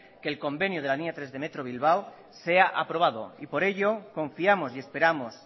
que el convenio de la línea tres del metro de bilbao sea aprobado y por ello confiamos y esperamos